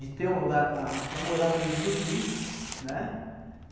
de ter um lugar para morar mesmo e dormir, né?